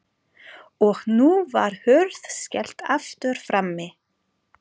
Og nú var hurð skellt aftur frammi.